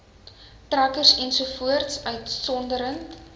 trekkers ens uitgesonderd